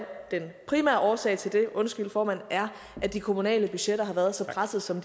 den primære årsag til det undskyld formand er at de kommunale budgetter har været så pressede som